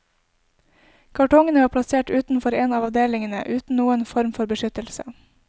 Kartongene var plassert utenfor en av avdelingene uten noen form for beskyttelse.